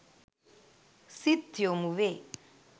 සිත් යොමුවේ.